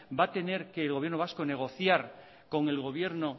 va a tener que el gobierno vasco negociar con el gobierno